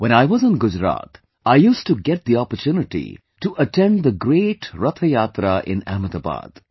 When I was in Gujarat, I used to get the opportunity to attend the great Rath Yatra in Ahmedabad